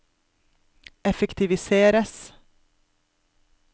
effektiviseres